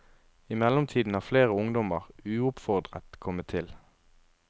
I mellomtiden har flere ungdommer, uoppfordret, kommet til.